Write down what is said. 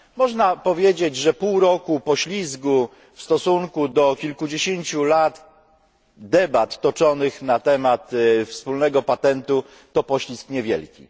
Można powiedzieć, że pół roku poślizgu w stosunku do kilkudziesięciu lat debat toczonych na temat wspólnego patentu to poślizg niewielki.